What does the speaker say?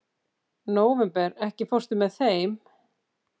Nóvember, ekki fórstu með þeim?